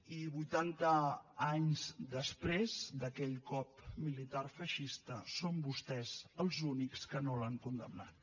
i vuitanta anys després d’aquell cop militar feixista són vostès els únics que no l’han condemnat